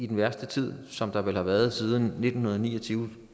den værste tid som der har været siden nitten ni og tyve